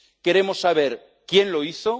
Queremos saber quién lo hizo.